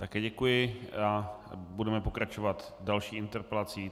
Také děkuji a budeme pokračovat další interpelací.